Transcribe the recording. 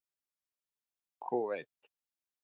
Kúveit